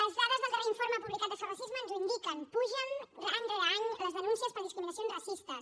les dades del darrer informe publicat de sos racisme ens ho indiquen pugen any rere any les denúncies per discriminacions racistes